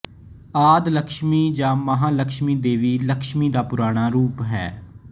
ਆਦਿ ਲਕਸ਼ਮੀ ਜਾਂ ਮਹਾ ਲਕਸ਼ਮੀ ਦੇਵੀ ਲਕਸ਼ਮੀ ਦਾ ਪੁਰਾਣਾ ਰੂਪ ਹੈ